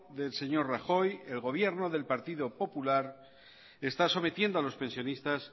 del señor rajoy el gobierno del partido popular está sometiendo a los pensionistas